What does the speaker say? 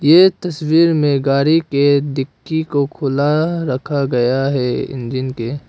ये तस्वीर में गाड़ी के डिक्की को खुला रखा गया है इंजन के।